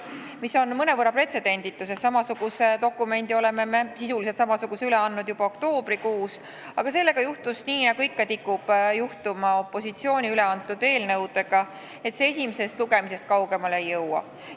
See on mõnevõrra pretsedenditu, sest sisult samasuguse dokumendi me andsime üle juba oktoobrikuus, aga sellega juhtus nii, nagu ikka tikub juhtuma opositsiooni esitatud eelnõudega: esimesest lugemisest see kaugemale ei jõua.